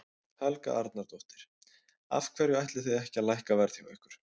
Helga Arnardóttir: Af hverju ætlið þið ekki að lækka verð hjá ykkur?